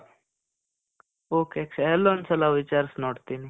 ok Akshay. ಅಲ್ಲೊಂದ್ ಸಲ ವಿಚಾರಿಸ್ ನೋಡ್ತೀನಿ.